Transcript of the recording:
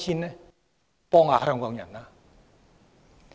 請幫幫香港人吧。